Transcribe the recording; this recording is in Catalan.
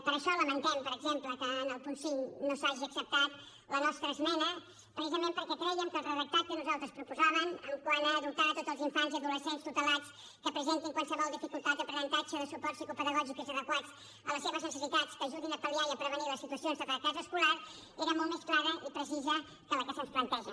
per això lamentem per exemple que en el punt cinc no s’hagi acceptat la nostra esmena precisament perquè crèiem que el redactat que nosaltres proposàvem quant a dotar tots els infants i adolescents tutelats que presentin qualsevol dificultat d’aprenentatge de suports psicopedagògics adequats a les seves necessitats que ajudin a pal·liar i a prevenir les situacions de fracàs escolar era molt més clar i precís que el que se’ns planteja